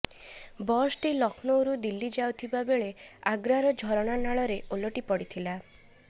ବସଟି ଲକ୍ଷ୍ନୌରୁ ଦିଲ୍ଲୀ ଯାଉଥିବାବେଳେ ଆଗ୍ରାର ଝରଣା ନାଳରେ ଓଲଟି ପଡିଥିଲା